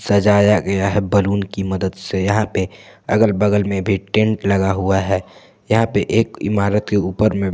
सजाया गया है बैलून की मदद से यहां पर अगल बगल में भी टेंट लगा हुआ हैयहां पर एक इमारत के ऊपर में--